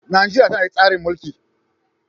Najeriya tana tsarin mulki